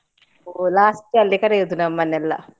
ಹೋ last ಅಲ್ಲಿ ಕರಿಯುದು ನಮ್ಮನ್ನೆಲ್ಲ.